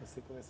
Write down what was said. Você começou.